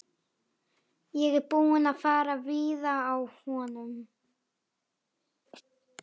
Ég er búinn að fara víða á honum.